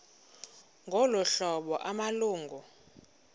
ngolu hlobo amalungu